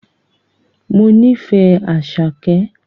Mo nífẹ̀ẹ́ Àṣàkẹ́